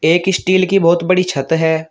एक स्टील की बहुत बड़ी छत है।